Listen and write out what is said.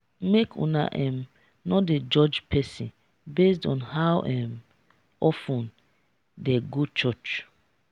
make una um no dey judge pesin based on how um of ten im dey go church.